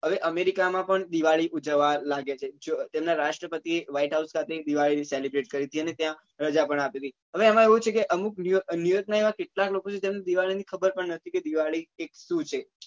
હવે america માં પણ દિવાળી ઉજવવા લાગી છે જોવો ત્યાં નાં રાષ્ટ્રપતિ white house ખાતે દિવાળી celebrate કરી હતી અને ત્યાં રજા પણ આપી હતી હવે એમાં એવું છે કે અમુક new york નાં એવા કેટલાક લોકો એવા છે કે એમને ખબર ની ખબર પણ નથ કે દિવાળી શું છે